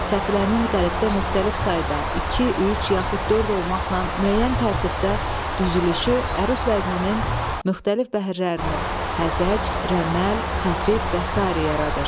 Təfilənin qəlibdə müxtəlif sayda iki, üç yaxud dörd olmaqla müəyyən tərtibdə düzülüşü əruz vəzninin müxtəlif bəhirlərini, həzəc, rəməl, xəfif və sair yaradır.